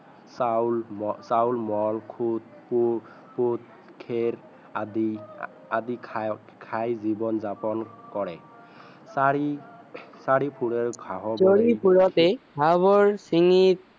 চাউল চাউল খেৰ আদি আদি খাই জীৱন যাপন কৰে চাৰি চাৰি